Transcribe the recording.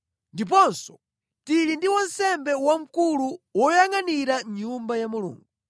Ndiponso tili ndi wansembe wamkulu woyangʼanira nyumba ya Mulungu.